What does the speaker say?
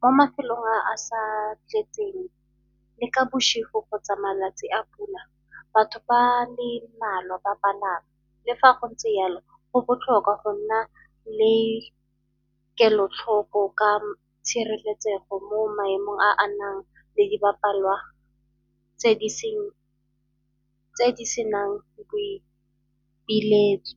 Mo mafelong a sa tletseng le ka kgotsa malatsi a pula batho ba le mmalwa ba palama. Le fa go ntse yalo go botlhokwa go nna le ke kelotlhoko ka tshireletsego mo maemong a a nang le di bapalwa tse di senang boipiletso.